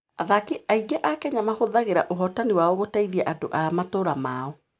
Athaki aingĩ a Kenya mahũthagĩra ũhootani wao gũteithia andũ a matũũra mao.